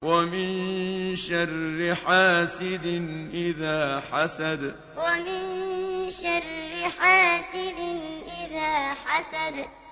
وَمِن شَرِّ حَاسِدٍ إِذَا حَسَدَ وَمِن شَرِّ حَاسِدٍ إِذَا حَسَدَ